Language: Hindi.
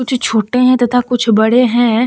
कुछ छोटे हैं तथा कुछ बड़े हैं।